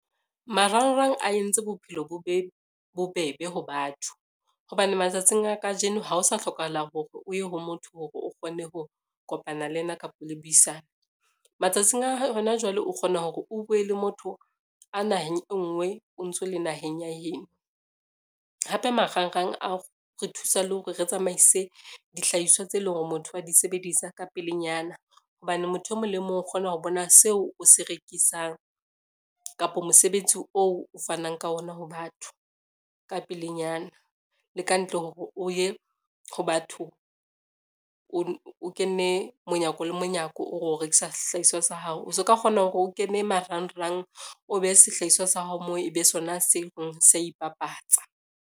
Marangrang a entse bophelo bo be bobebe ho batho, hobane matsatsing a kajeno ha o sa hlokahala hore o ye ho motho hore o kgone ho kopana le ena kapa le buisane. Matsatsing a hona jwale o kgona hore o bue le motho a naheng e ngwe o ntso le naheng ya heno, hape marangrang a re thusa le hore re tsamaise dihlahiswa tse leng hore motho a di sebedisa ka pelenyana hobane motho e mong le mong o kgona ho bona seo o se rekisang kapa mosebetsi oo o fanang ka ona ho batho ka pelenyana. Le ka ntle hore o ye ho batho o kene monyako le monyako, ore o rekisa sehlahiswa sa hao, o se o ka kgona hore o kene marangrang, o behe sehlahiswa sa hao moo ebe sona so reng se ipapatsa.